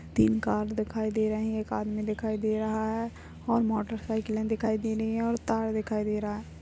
तीन कार दिखाई दे रहे हैं कार में दिखाई दे रहा है और मोटर साइकिले दिखाई दे रही है और तार दिखाई दे रहा है।